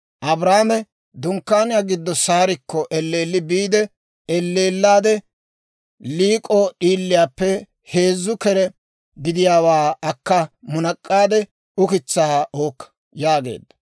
Abrahaame dunkkaaniyaa giddo Saarikko elleelli biide, «Elleellaade liik'o d'iiliyaappe heezzu kere gidiyaawaa akka munak'aade ukitsaa uukka» yaageedda.